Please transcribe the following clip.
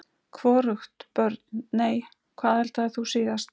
Hvorugt Börn: Nei Hvað eldaðir þú síðast?